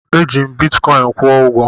M ji bitikọin kwụ ụgwọ.